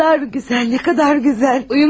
Nə qədər gözəl, nə qədər gözəl!